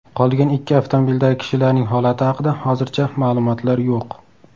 Qolgan ikki avtomobildagi kishilarning holati haqida hozircha ma’lumotlar yo‘q.